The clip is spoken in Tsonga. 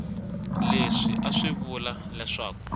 leswi a swi vula leswaku